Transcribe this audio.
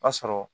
O y'a sɔrɔ